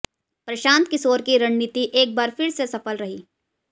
प्रशांत किशोर की रणनीति एक बार फिर से सफल रही